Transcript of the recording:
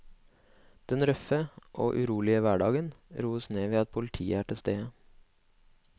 Den røffe og urolige hverdagen roes ned ved at politiet er til stede.